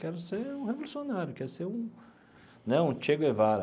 Quero ser um revolucionário, quero ser um né um Che Guevara.